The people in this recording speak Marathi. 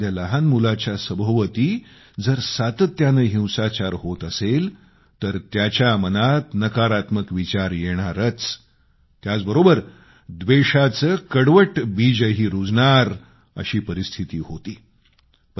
आता एखाद्या लहान मुलाच्या सभोवती जर सातत्यानं हिंसाचार होत असेल तर त्याच्या मनात नकारात्मक विचार येणारच त्याचबरोबर व्देषाचं कडवट बीजही रूजणार अशी परिस्थिती होती